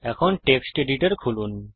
এখন text editor খুলুন